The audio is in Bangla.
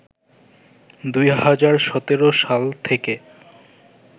২০১৭ সাল থেকে